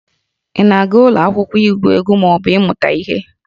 Ị na-aga ụlọ akwụkwọ igwu egwu ma ọ bụ ịmụta ihe?